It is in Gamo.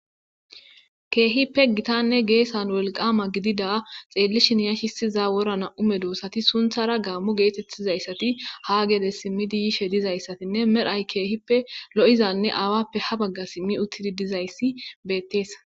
keehippe gitanne geessan wolqama gidida xeellishin yashisiza wora nam''u medoossati sunthara gaammu geetettizayssati ha geede simmidi yishe dizayssatinne medhay keehippe lo'izanne aawappe ha bagga simmi uttidi dizayssi betteesa.